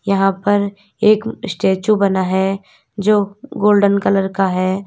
यहां पर एक स्टेचू बना है जो गोल्डन कलर का है।